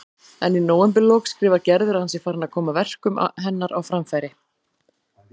En í nóvemberlok skrifar Gerður að hann sé farinn að koma verkum hennar á framfæri.